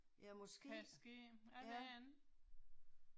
Ja måske, ja